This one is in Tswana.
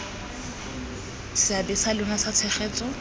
seabe sa lona sa tshegetso